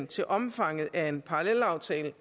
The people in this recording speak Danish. til omfanget af en parallelaftale